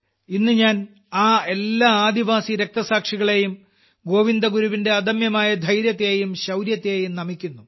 ഇന്ന് ഞാൻ ആ എല്ലാ ആദിവാസിരക്ഷസാക്ഷികളെയും ഗോവിന്ദഗുരുവിന്റെ അദമ്യമായ ധൈര്യത്തെയും ശൌര്യത്തെയും നമിക്കുന്നു